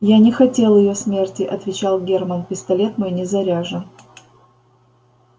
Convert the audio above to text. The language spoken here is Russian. я не хотел её смерти отвечал германн пистолет мой не заряжен